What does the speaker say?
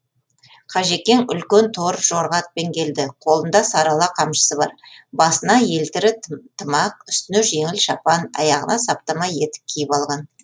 қажекең үлкен тор жорға атпен келді қолында сарыала қамшысы бар басына елтірі тымақ үстіне жеңіл шапан аяғына саптама етік киіп алған